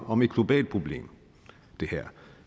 om et globalt problem